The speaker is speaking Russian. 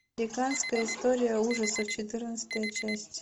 американская история ужасов четырнадцатая часть